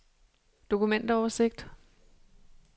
dokumentoversigt